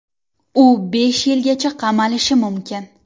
U besh yilgacha qamalishi mumkin.